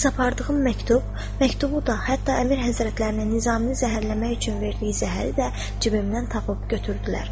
Bəs apardığım məktub, məktubu da hətta Əmir Həzrətlərinin Nizaminin zəhərləmək üçün verdiyi zəhəri də cibimdən tapıb götürdülər.